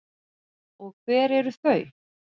Og hver eru þau?